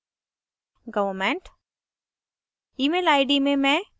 occupation में government